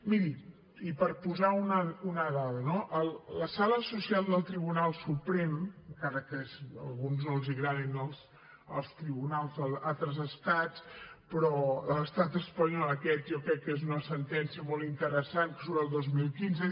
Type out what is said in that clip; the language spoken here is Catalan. miri i per posar una dada no la sala social del tribunal suprem encara que a alguns no els agradin els tribunals d’altres estats però de l’estat espanyol aquesta jo crec que és una sentència molt interessant que surt el dos mil quinze